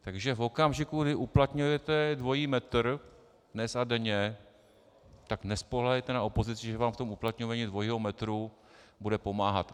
Takže v okamžiku, kdy uplatňujete dvojí metr, dnes a denně, tak nespoléhejte na opozici, že vám v tom uplatňování dvojího metru bude pomáhat.